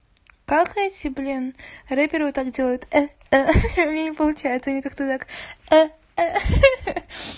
как эти блин рэперы вот так делают э ха ха у меня не получается они как то так э ха ха